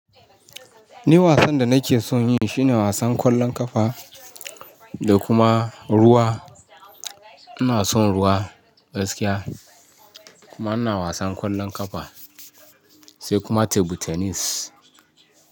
Ni wasan da nake son yi shine wasan ƙwallon ƙafa da kuma ruwa. Ina son ruwa, gaskiya. Kuma ina wasan ƙwallon ƙafa, sai kuma teble tenis.